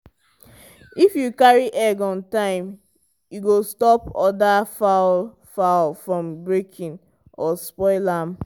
if you carry egg on time e go stop other fowl fowl from breaking or spoil am.